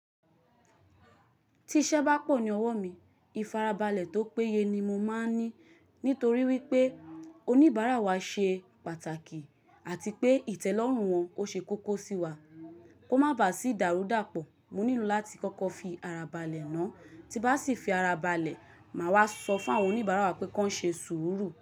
Tí iṣẹ́ bá pọ̀ ní ọwọ́ mi, ìfarabalẹ̀ tó péye ni mo máa ń ní nítorí wípé oníbàárà wa ṣe pàtàkì àti pé ìtẹ́lọ́rùn wọn ò ṣe kókó sí wa. Kó má bá sì dàrú dàpọ̀, mo nílò láti kọ́kọ́ fi ara balẹ̀ náà, tí bá sì fi ara balẹ̀, màá wá sọ fún àwọn oníbàárà wa pé kí wọ́n ṣe sùúrù.